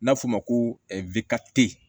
N'a fɔ ma ko webata